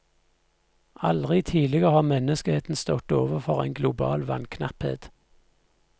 Aldri tidligere har menneskeheten stått overfor en global vannknapphet.